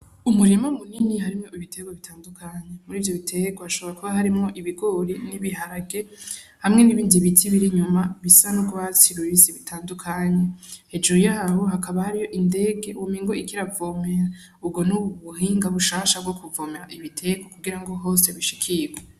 Umurima munini harimwo ibiterwa bitandukanye. Muri ivyo biterwa hashobora kuba harimwo ibigori n'ibiharage hamwe n'ibindi biti biri inyuma bisa n'urwatsi rubisi bitandukanye. Hejuru yaho hakaba hariho indege womengo iriko iravomera. Ubwo ni ubuhinga bushasha bwo kuvomera ibiterwa kugira ngo hose bishikirwe.